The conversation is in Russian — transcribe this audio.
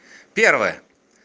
первое